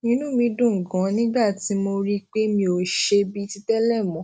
inú mi dùn ganan nígbà tí mo rí i pé mi ò ṣe bíi ti télè mó